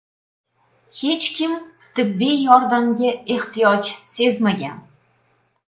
Hech kim tibbiy yordamga ehtiyoj sezmagan.